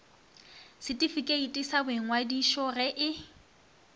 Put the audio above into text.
setifikeiti sa boingwadišo ge e